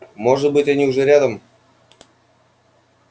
может быть они уже рядом